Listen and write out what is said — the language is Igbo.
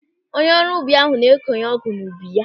Onye ọrụ ubi ahụ na-ekọnye ọgụ n'ubu ya.